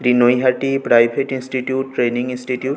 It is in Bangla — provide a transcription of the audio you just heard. এটি Naihati private institute training institute.